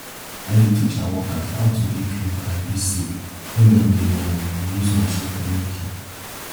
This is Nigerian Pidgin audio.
i dey teach our workers how to dey clean and dey safe when dem dey um use machine for milking